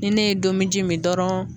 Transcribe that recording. Ni ne ye domiji min dɔrɔn